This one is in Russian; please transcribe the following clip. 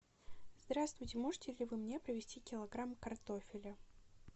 здравствуйте можете ли вы мне привезти килограмм картофеля